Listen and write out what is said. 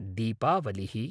दीपावलिः